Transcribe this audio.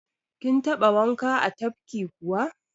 Kin taɓa wanka a tafki kuwa?